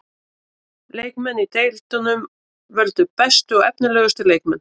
Leikmenn í deildunum völdu bestu og efnilegustu leikmenn.